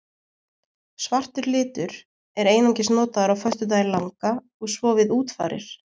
Svartur litur er einungis notaður á föstudaginn langa og svo við útfarir.